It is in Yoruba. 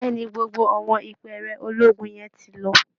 Bẹ́ẹ̀ ni, gbogbo àwọn ìpẹ́ẹ̀rẹ̀ ológun yẹn ti lọ